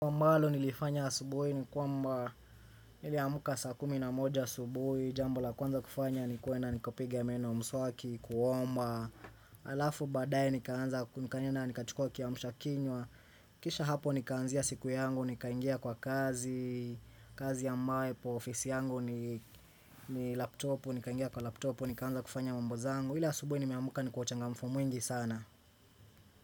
Mbalo nilifanya asubuhi ni kwamba nili amuka saa kumi na moja subuhi Jambo la kuwanza kufanya ni kwena nikopiga ya meno mswaki kuomba. Alafu badae nikaanza nikaenda nikachukua kiamusha kinywa. Kisha hapo nikaanzia siku yangu nikaingia kwa kazi. Kazi ya mawe po ofisi yangu. Ni laptopu nikaingia kwa laptopu nikaanza kufanya mamboza angu Ila subuhi ni miamuka nikuwa changa mfu mwengi sana.